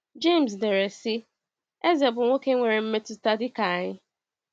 James dere, sị: “Eze bụ nwoke nwere mmetụta dị ka anyị.”